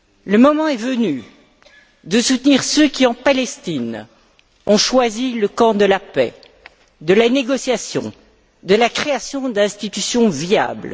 Le moment est venu de soutenir ceux qui, en Palestine, ont choisi le camp de la paix, de la négociation, de la création d'institutions viables.